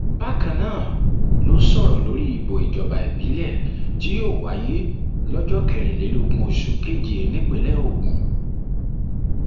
bákan náà ló sọrọ lórí ìbò ìjọba ìbílẹ tí yóò wáyé lọjọ kẹrìnlélógún oṣù keje nípínlẹ ogun